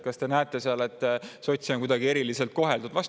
Kas te olete näinud, et sotse on seal kuidagi eriliselt koheldud?